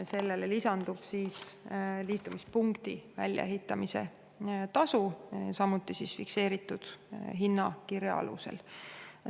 Sellele lisandub liitumispunkti väljaehitamise tasu, samuti fikseeritud hinnakirja alusel.